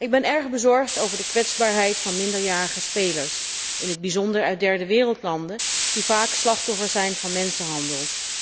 Ik ben erg bezorgd over de kwetsbaarheid van minderjarige spelers, in het bijzonder uit derdewereldlanden, die vaak slachtoffer zijn van mensenhandel.